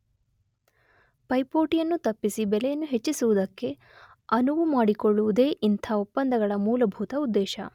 ಪೈಪೋಟಿಯನ್ನು ತಪ್ಪಿಸಿ ಬೆಲೆಯನ್ನು ಹೆಚ್ಚಿಸುವುದಕ್ಕೆ ಅನುವುಮಾಡಿಕೊಳ್ಳುವುದೇ ಇಂಥ ಒಪ್ಪಂದಗಳ ಮೂಲಭೂತ ಉದ್ದೇಶ.